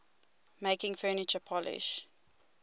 making furniture polish